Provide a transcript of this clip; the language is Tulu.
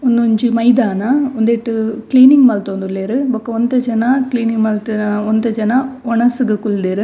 ಉಂದೊಂಜಿ ಮೈದಾನ ಉಂದೆಟ್ ಕ್ಲೀನಿಂಗ್ ಮಲ್ತೊಂದುಲ್ಲೆರ್ ಬೊಕ ಒಂತೆ ಜನ ಕ್ಲೀನಿಂಗ್ ಮಲ್ತ್ ಒಂತೆ ಜನ ವನಸುಗು ಕುಲ್ದೆರ್.